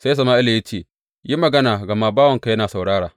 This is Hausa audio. Sai Sama’ila ya ce, Yi magana gama bawanka yana saurara.